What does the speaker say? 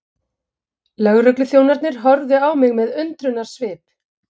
Lögregluþjónarnir horfðu á mig með undrunarsvip.